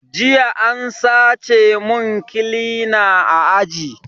Jiya an sace mun kilina a aji